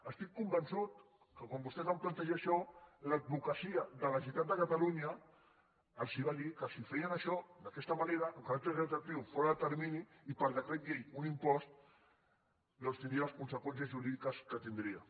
estic convençut que quan vostès van plantejar això l’advocacia de la generalitat de catalunya els va dir que si feien això d’aquesta manera amb caràcter retroactiu fora de termini i per decret llei un impost doncs tindria les conseqüències jurídiques que tindria